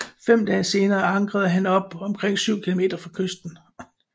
Fem dage senere ankrede han op omkring 7 km fra kysten